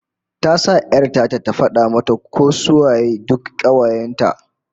Ta sa 'yar ta ta fada mata ko su waye duk kawayen ta